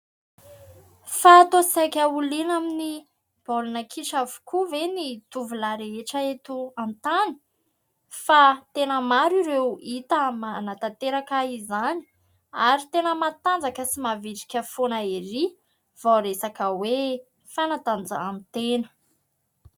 Fa tô saika ho liana amin'ny baolina kitra avy koa ve ny tovolahy rehetra eto an-tany? Fa tena maro ireo hita manantanteraka an'izany, ary tena mahatanjaka sy mahavitrika foana erỳ vao resaka hoe fanatanjahantena.